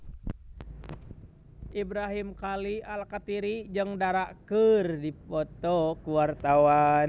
Ibrahim Khalil Alkatiri jeung Dara keur dipoto ku wartawan